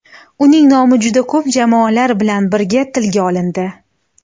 Uning nomi juda ko‘p jamoalar bilan birga tilga olindi.